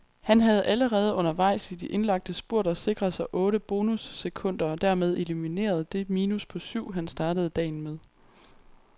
Han havde allerede undervejs i de indlagte spurter sikret sig otte bonusskunder og dermed elimineret det minus på syv, han startede dagen med.